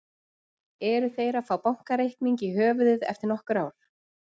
Eru þeir að fá bakreikning í höfuðið eftir nokkur ár?